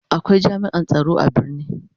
Akwai jami'an tsaro a birni.